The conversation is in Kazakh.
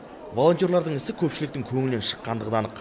волонтерлардың ісі көпшіліктің көңілінен шыққандығы да анық